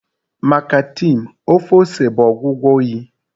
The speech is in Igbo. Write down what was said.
Maka Tim, ofe ose bụ ọgwụgwọ oyi